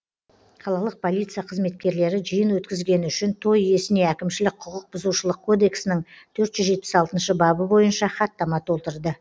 қалалық полиция қызметкерлері жиын өткізгені үшін той иесіне әкімшілік құқық бұзушылық кодексінің төрт жүз жетпіс алтыншы бабы бойынша хаттама толтырды